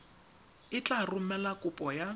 e tla romela kopo ya